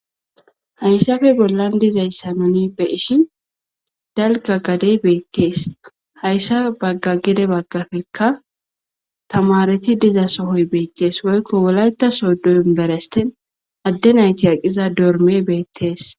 Hayssafe bollan dizayssanonippe ishin dalga gadey beettees hayssa bagga gede baggafekka tamareti diza sohoy beettees woykko wolayta sodon beresten addenayti aqiza dorme beettees.